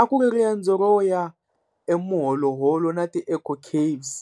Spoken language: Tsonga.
A ku ri riendzo ro ya eMoholoholo na ti-Eco caves